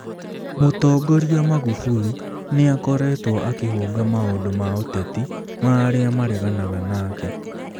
Mũtongoria Magufuli nĩ akoretwo akĩhũnga maũndũ ma ũteti ma arĩa mareganaga nake.